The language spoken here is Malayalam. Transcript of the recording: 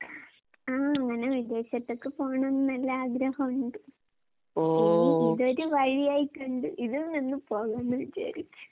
താ ആഹ് അങ്ങനെ വിദേശത്തൊക്കെ പോകണോന്നെല്ലാം ആഗ്രഹോണ്ട്. ഇനി ഇതൊരു വഴിയായി കണ്ട് ഇതിൽ നിന്ന് പോകാന്ന് വിചാരിച്ചു.